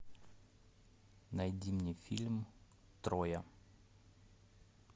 найди мне фильм троя